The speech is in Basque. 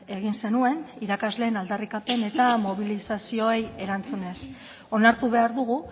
egin zenuen irakasleen aldarrikapen eta mobilizazioei erantzunez onartu behar dugu